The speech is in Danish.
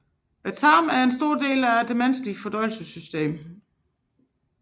Tarmen er en stor del af menneskets fordøjelsessystem